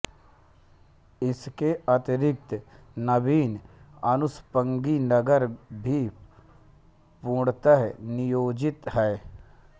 इसके अतिरिक्त नवीन अनुषंगी नगर भी पूर्णतः नियोजित हैं